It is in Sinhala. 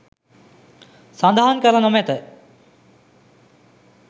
සඳහන් කර නොමැත